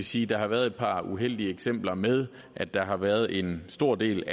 sige der har været et par uheldige eksempler med at der har været en stor del